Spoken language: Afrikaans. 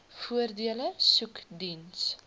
voordele soek diens